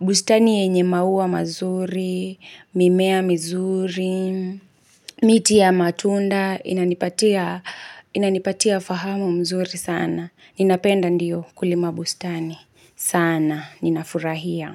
Bustani yenye maua mazuri, mimea mizuri, miti ya matunda inanipatia Inanipatia fahamu mzuri sana. Ninapenda ndio kulima bustani. Sana, ninafurahia.